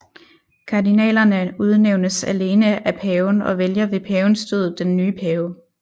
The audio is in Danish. Kardinalerne udnævnes alene af paven og vælger ved pavens død den nye pave